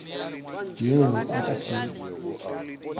yeo a ka se e